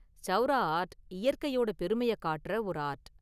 Saura art இயற்கையோட பெருமையை காட்டுற ஒரு ஆர்ட்.